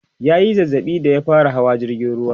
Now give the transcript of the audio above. ya Yi zazzaɓi da ya fara Hawa jirgin ruwa